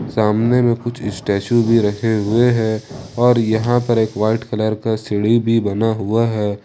सामने में कुछ स्टेच्यू भी रखे हुए है और यहां पर एक वाइट कलर का सीढ़ी भी बना हुआ है।